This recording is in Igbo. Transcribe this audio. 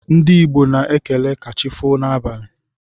Ndi igbo na ekele kachifo na abali..